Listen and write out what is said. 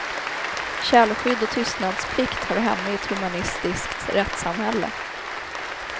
Källskydd och tystnadsplikt hör hemma i ett humanistiskt rättssamhälle.